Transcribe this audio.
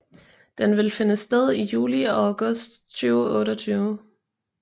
Den vil finde sted i juli og august 2028